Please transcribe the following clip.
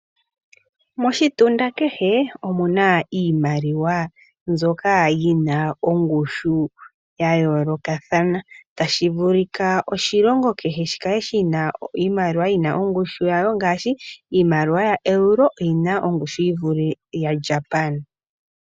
Moshitunda kehe omuna iimaliwa mbyoka yina ongushu ya yoolokathana tashi vulika oshilongo kehe shi kale shina iimaliwa yina ongushu yawo ngaashi iimaliwa ya euro oyina ongushu yi vule ya Japan.